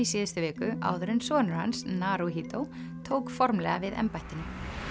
síðustu viku áður en sonur hans Naruhito tók formlega við embættinu